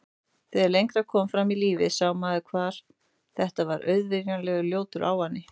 Þegar lengra kom fram í lífið sá maður hvað þetta var auvirðilegur og ljótur ávani.